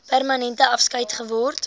permanente afskeid geword